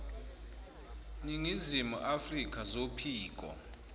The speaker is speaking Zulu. ningizimu afrka zophiko